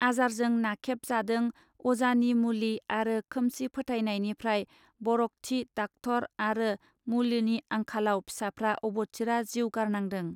आजारजों नाखेब जादों अजानि मुलि आरो खोमसि फोथायनायनिफ्राइ बरगथि डाक्टर आरो मुलिनि आंखालाव फिसाफ्रा अबथिरा जिउ गारनांदों.